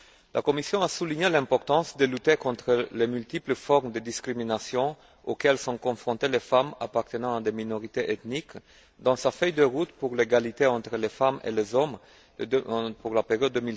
La Commission a souligné l'importance de lutter contre les multiples formes de discrimination auxquelles sont confrontées les femmes appartenant à des minorités ethniques, dans sa feuille de route pour l'égalité entre les femmes et les hommes pour la période